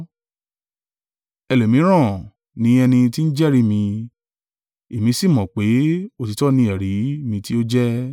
Ẹlòmíràn ni ẹni tí ń jẹ́rìí mi; èmi sì mọ̀ pé, òtítọ́ ni ẹ̀rí mi tí ó jẹ́.